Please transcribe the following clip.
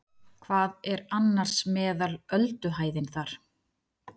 Hver er annars meðal ölduhæðin þar?